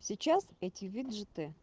сейчас эти виджеты